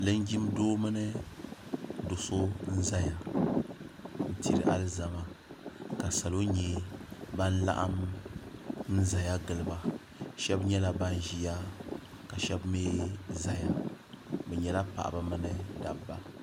linjin doo mini do so n ʒɛya diri alizama ka salo nyɛ ban laɣam n ʒɛya giliba shab nyɛla ban ʒiya ka shab mii ʒɛya bi nyɛla paɣaba mini dabba